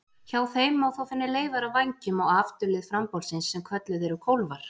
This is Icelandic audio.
Hjá þeim má þó finna leifar af vængjum á afturlið frambolsins sem kölluð eru kólfar.